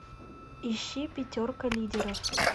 ищи пятерка лидеров